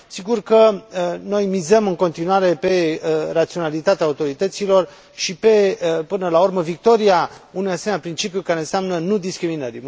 Sigur că noi mizăm în continuare pe raționalitatea autorităților și pe, până la urmă, victoria unui asemenea principiu care înseamnă nu discriminării.